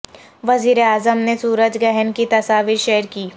وزیراعظم نے سورج گہن کی تصاویر شیئر کیں